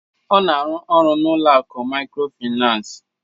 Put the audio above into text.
Ọ na-arụ ọru n'ụlọ akụ maykrofinans